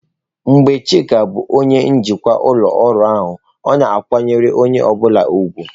Mgbe Chika bụ onye njikwa ụlọ ọrụ a, ọ na-akwanyere onye ọ bụla ùgwù.